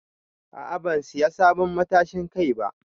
A'a ban siya sabon matashin Kai ba.